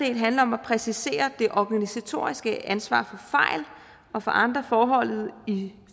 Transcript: del handler om at præcisere det organisatoriske ansvar for fejl og for andre forhold i